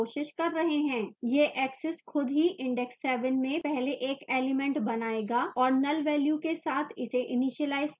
यह access खुद ही index 7 में पहले एक element बनायेगा और null value के साथ इसे इनिशीलाइज करेगा